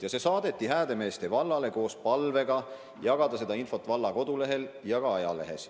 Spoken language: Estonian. See kutse saadeti Häädemeeste vallale koos palvega jagada seda infot valla kodulehel ja ka ajalehes.